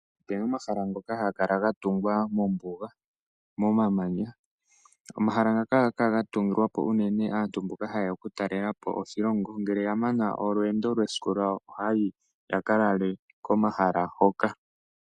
Opena omahala ngoka haga kala ga tungwa mombuga momamanya. Omahala ngaka ohaga kala ga tungilwa po unene aantu mboka haye ya okutalela po oshilongo ngele ya mana olweendo lwesiku lwawo ohaya yi ya ka lale komahala hoka.